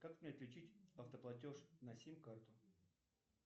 как мне отключить автоплатеж на сим карту